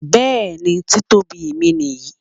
Bẹẹni, Títóbi mi nìyẹn.